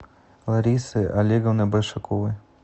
ларисы олеговны большаковой